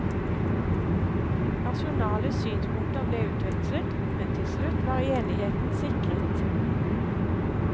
Nasjonale synspunkter ble utvekslet, men til slutt var enigheten sikret.